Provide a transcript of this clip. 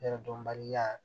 Yɛrɛ dɔnbali la